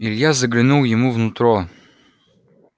илья заглянул ему в нутро